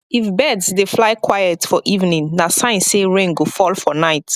if birds dey fly quiet for evening na sign say rain go fall for night